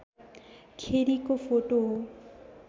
खेरिको photo हो